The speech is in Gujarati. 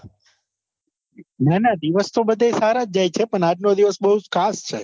ના ના દિવસ તો બધાય સારા જ જાય છે પણ આજ નો દિવસ બહુ ખાસ છે.